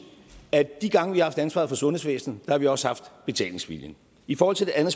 at de gange vi har haft ansvaret for sundhedsvæsenet har vi også haft betalingsviljen i forhold til det andet